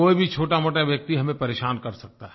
कोई भी छोटामोटा व्यक्ति हमें परेशान कर सकता है